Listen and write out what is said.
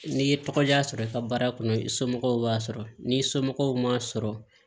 N'i ye tɔgɔ diya sɔrɔ i ka baara kɔnɔ i somɔgɔw b'a sɔrɔ n'i somɔgɔw m'a sɔrɔ